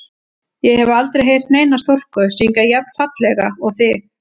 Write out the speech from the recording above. Ég hef aldrei heyrt neina stúlku syngja jafn fallega og þig.